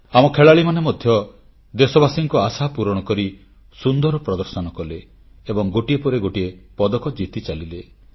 ଆମ ଖେଳାଳିମାନେ ମଧ୍ୟ ଦେଶବାସୀଙ୍କ ଆଶା ପୂରଣ କରି ସୁନ୍ଦର ପ୍ରଦର୍ଶନ କଲେ ଏବଂ ଗୋଟିଏ ପରେ ଗୋଟିଏ ପଦକ ଜିତି ଚାଲିଲେ